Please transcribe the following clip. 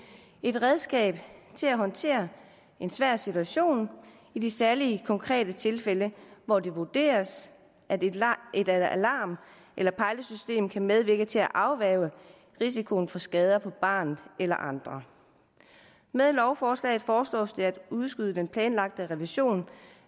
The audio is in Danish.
et redskab til at håndtere en svær situation i de særlige konkrete tilfælde hvor det vurderes at et et alarm eller pejlesystem kan medvirke til at afværge risikoen for skader på barnet eller andre med lovforslaget foreslås det at udskyde den planlagte revision